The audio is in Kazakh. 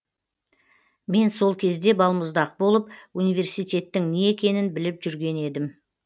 мен сол кезде балмұздақ болып университеттің не екенін біліп жүрген едім